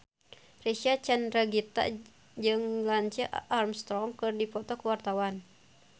Reysa Chandragitta jeung Lance Armstrong keur dipoto ku wartawan